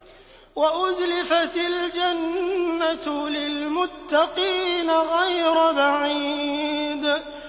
وَأُزْلِفَتِ الْجَنَّةُ لِلْمُتَّقِينَ غَيْرَ بَعِيدٍ